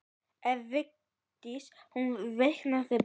Ef Vigdís finnur veikan blett.